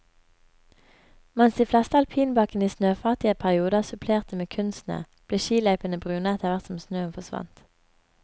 Mens de fleste alpinbakkene i snøfattige perioder supplerte med kunstsnø, ble skiløypene brune etter hvert som snøen forsvant.